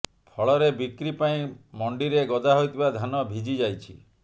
ଫଳରେ ବିକ୍ରି ପାଇଁ ମଣ୍ଡିରେ ଗଦା ହୋଇଥିବା ଧାନ ଭିଜିଯାଇଛି